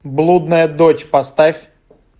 блудная дочь поставь